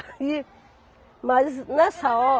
Aí... Mas, nessa ho